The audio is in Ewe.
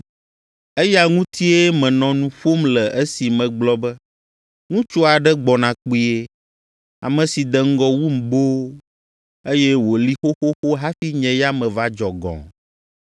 Eya ŋutie menɔ nu ƒom le esi megblɔ be, ‘Ŋutsu aɖe gbɔna kpuie, ame si de ŋgɔ wum boo, eye wòli xoxoxo hafi nye ya meva dzɔ gɔ̃.’